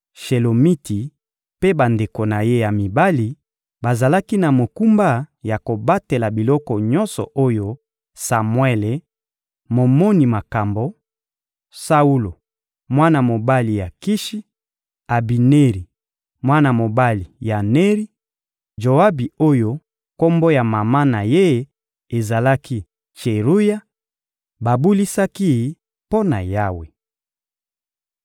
Shelomiti mpe bandeko na ye ya mibali bazalaki na mokumba ya kobatela biloko nyonso oyo Samuele, momoni makambo; Saulo, mwana mobali ya Kishi; Abineri, mwana mobali ya Neri; Joabi oyo kombo ya mama na ye ezalaki «Tseruya,» babulisaki mpo na Yawe.